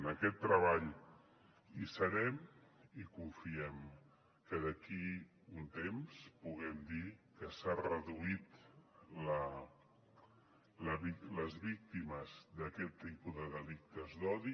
en aquest treball hi serem i confiem que d’aquí un temps puguem dir que s’han reduït les víctimes d’aquest tipus de delictes d’odi